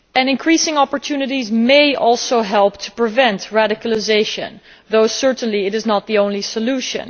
Increasing opportunities may also help to prevent radicalisation, although clearly it is not the only solution.